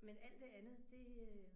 Men alt det andet det øh